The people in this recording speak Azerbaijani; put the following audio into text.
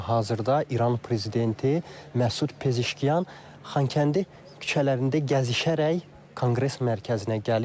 Amma hazırda İran prezidenti Məsud Pezeşkiyan Xankəndi küçələrində gəzişərək Konqres Mərkəzinə gəlir.